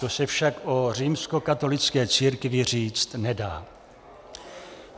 To se však o římskokatolické církvi říct nedá.